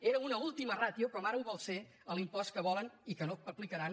era una última ràtio com ara ho vol ser l’impost que volen i que no aplicaran